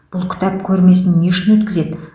бұл кітап көрмесін не үшін өткізеді